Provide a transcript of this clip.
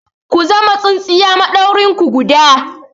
Ku zama tsintsiya maɗauri guda!